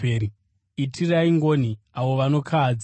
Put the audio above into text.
Itirai ngoni avo vanokahadzika;